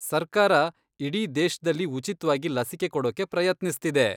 ಸರ್ಕಾರ ಇಡೀ ದೇಶ್ದಲ್ಲಿ ಉಚಿತ್ವಾಗಿ ಲಸಿಕೆ ಕೊಡೋಕೆ ಪ್ರಯತ್ನಿಸ್ತಿದೆ.